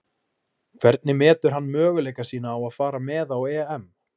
Hvernig metur hann möguleika sína á að fara með á EM?